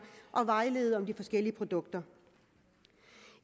og vejlede om de forskellige produkter